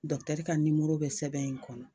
Dɔkutɛri ka nimoro bɛ sɛbɛn in kɔnɔ